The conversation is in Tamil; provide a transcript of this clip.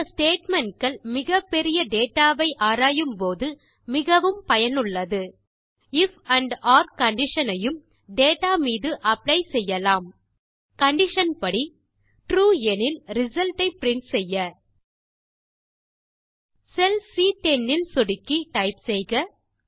இந்த ஸ்டேட்மெண்ட் கள் மிகப்பெரிய டேட்டா வை ஆராயும் போது மிகவும் பயனுள்ளது ஐஎஃப் ஆண்ட் ஒர் கண்டிஷன் ஐயும் டேட்டா மீது அப்ளை செய்யலாம் கண்டிஷன் படி ட்ரூ எனில் ரிசல்ட் ஐ பிரின்ட் செய்ய செல் சி10 இல் சொடுக்கி டைப் செய்க